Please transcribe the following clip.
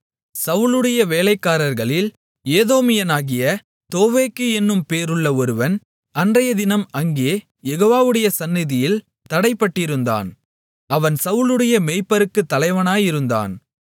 சவுலுடைய வேலைக்காரர்களில் ஏதோமியனாகிய தோவேக்கு என்னும் பேருள்ள ஒருவன் அன்றையதினம் அங்கே யெகோவாவுடைய சந்நிதியில் தடைபட்டிருந்தான் அவன் சவுலுடைய மேய்ப்பருக்குத் தலைவனாயிருந்தான்